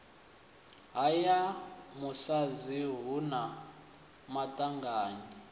haya musadzi hu na maṱanganyi